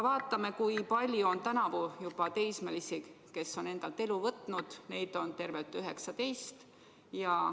Vaatame, kui palju on tänavu juba teismelisi endalt elu võtnud: neid on tervelt 19.